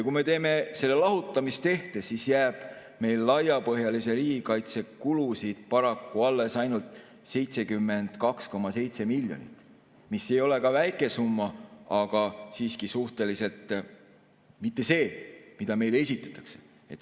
Kui me teeme selle lahutamistehte, siis jääb meil laiapõhjalise riigikaitse kulusid paraku alles ainult 72,7 miljonit, mis ei ole väike summa, aga suhteliselt siiski mitte see, mida meile esitatakse.